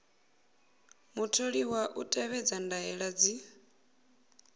mutholiwa u tevhedza ndaela dzi